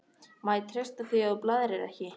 Má ég treysta því að þú blaðrir ekki?